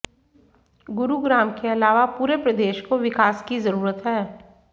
गुरुग्राम के अलावा पूरे प्रदेश को विकास की जरूरत है